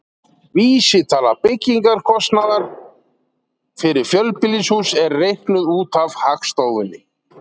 Vísitala byggingarkostnaðar fyrir fjölbýlishús er reiknuð út af Hagstofunni.